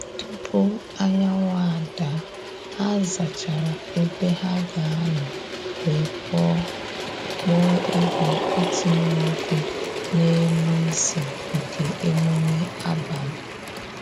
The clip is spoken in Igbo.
Tupu anyanwụ ada, ha zachara ebe ha ga anọ wee kpọọ kpọọ egwu itinye ọkụ n’elu isi nke emume abalị